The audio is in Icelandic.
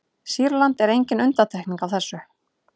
sýrland er engin undantekning á þessu